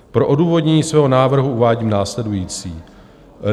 Pro odůvodnění svého návrhu uvádím následující.